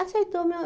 Aceitou. Meu